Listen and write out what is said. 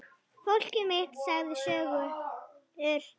Fólkið mitt sagði sögur.